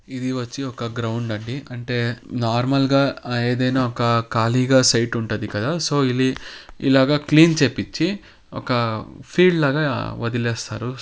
ఇది వచ్చి ఒక గ్రౌండ్ అండి. అంటే నార్మల్ గా ఏదైనా ఒక ఖాళీగా సైటు ఉంటుంది. కదా సో ఇల్-ఇలాగ క్లీన్ చేపించి ఒక ఫీల్డ్ లాగా వదిలేస్తారు.